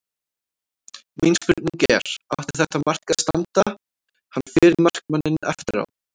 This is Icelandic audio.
Mín spurning er: Átti þetta mark að standa, hann fer í markmanninn eftir á?